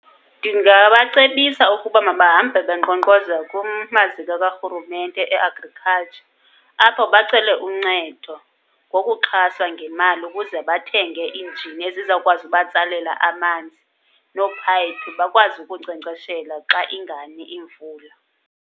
Ndingabacebisa ukuba mahambe benkqonkqoza kumaziko karhurumente e-agriculture. Apho bacele uncedo ngokuxhaswa ngemali ukuze bathenge iinjini ezizawukwazi ubatsalela amanzi noophayiphi, bakwazi ukunkcenkceshela xa ingani imvula.